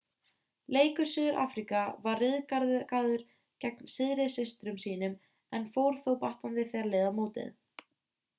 leikur suður-afríka var ryðgaður gegn syðri systrum sínum en fór þó batnandi þegar leið á mótið